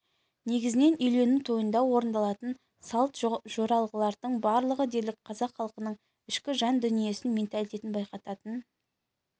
негізінен үйлену тойында орындалатын салт-жоралғылардың барлығы дерлік қазақ халқының ішкі жан дүниесін менталитетін байқататын